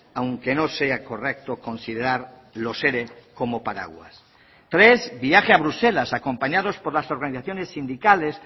aunque no sea correcto considerar los ere como paraguas tres viaje a bruselas acompañados por las organizaciones sindicales